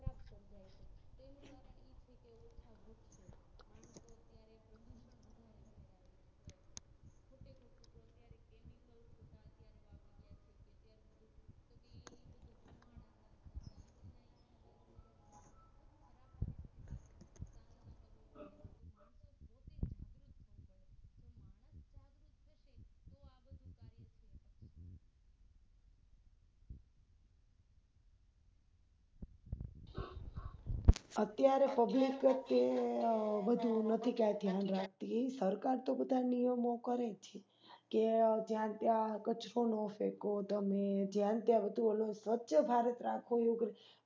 અત્યારે Public કે બધું નથી ક્યાય ધ્યાન રાખતી સરકાર તો બધા નિયમો કરે છે કે જ્યાં ત્યાં કચરો ન ફેકવો તમે જ્યાં ત્યાં બધું ઓંલું સ્વચ્છભારત રાખો એવું